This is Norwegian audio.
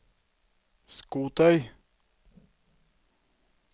skotøy